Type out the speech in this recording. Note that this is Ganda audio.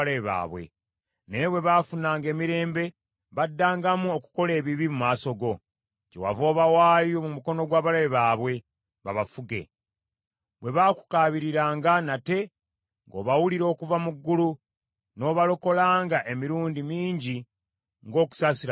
“Naye bwe baafunanga emirembe, baddangamu okukola ebibi mu maaso go. Kyewava obawaayo mu mukono gw’abalabe baabwe, babafuge. Bwe baakukaabiriranga nate, ng’obawulira okuva mu ggulu, n’obalokolanga emirundi mingi ng’okusaasira kwo bwe kuli.